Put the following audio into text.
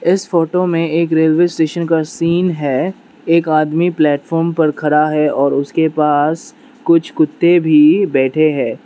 इस फोटो में एक रेलवे स्टेशन का सीन है एक आदमी प्लेटफार्म पर खड़ा है और उसके पास कुछ कुत्ते भी बैठे है।